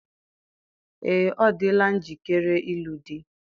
Ee, ọ dịla njikere ịlụ di.